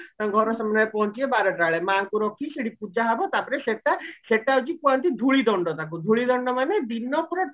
ତାଙ୍କ ଘର ସାମ୍ନାରେ ପହଞ୍ଚିବେ ମାଙ୍କୁ ରଖିକି ସେଠି ପୂଜା ହବ ତାପରେ ସେଟା ସେଟା ହଉଚି କୁହନ୍ତି ଧୁଳି ଦଣ୍ଡ ତାକୁ ଧୁଲିଦଣ୍ଡ ମାନେ ଦିନ ପୁରା